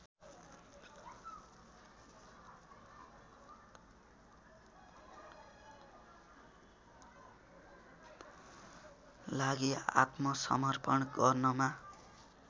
लागि आत्मसमर्पण गर्नमा